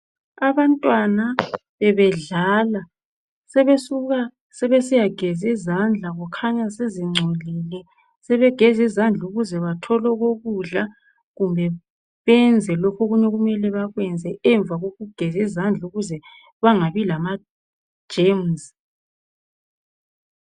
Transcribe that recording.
Abantwana bebedlala. Sebesuka sebesiyagez' izandla kukhanya sezingcolile. Sebegez' izandl' ukuze bathol' okokudla kumbe benze lokh' okuny' okumele bakwenze emva kokugez' izandl' ukuze bangabi lama germs.